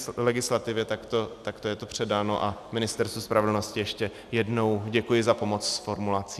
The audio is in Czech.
Z legislativy takto je to předáno a Ministerstvu spravedlnosti ještě jednou děkuji za pomoc s formulací.